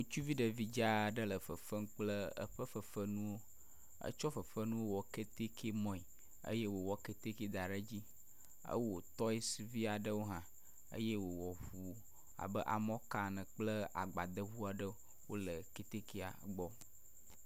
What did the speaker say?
Ŋutsuvi ɖevi dzaa aɖe le fefem kple eƒe fefenuwo. Etsɔ fefenuwo wɔ kɛtɛkɛ mɔe eye wòwɔ kɛtɛkɛ da ɛe edzi. Ewɔ tɔsiivi aɖewo hã eye wòwɔ ŋu abe amɔka ene kple agbadeŋu aɖe. Wole kɛtɛkɛa gbɔ.